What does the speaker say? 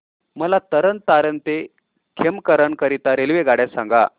मला तरण तारण ते खेमकरन करीता रेल्वेगाड्या सांगा